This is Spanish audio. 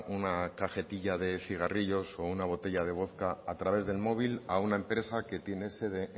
una cajetilla de cigarrillos o una botella de vodka a través del móvil a una empresa que tiene sede